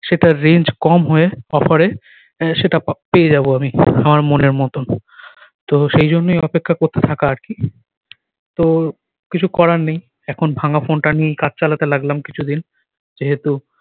সেটার range কম হয়ে offer এ সেটা পেয়ে যাব আমি আমার মনের মতন তো সেই জন্যেই অপেক্ষা করতে থাকা আর কি তো কিছু করার নেই এখন ভাঙ্গা ফোন টা নিয়েই কাজ চালাতে লাগলাম কিছুদিন যেহেতু